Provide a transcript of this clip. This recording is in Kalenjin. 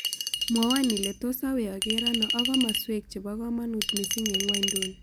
Mwowon ile tos' awee ageer ano ak komosuek chebokamanut misiing' eng' ng'wonyduni